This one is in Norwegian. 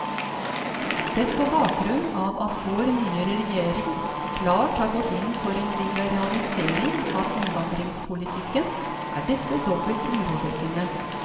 Sett på bakgrunn av at vår nye regjering klart har gått inn for en liberalisering av innvandringspolitikken, er dette dobbelt urovekkende.